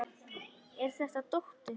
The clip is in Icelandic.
Er þetta dóttir.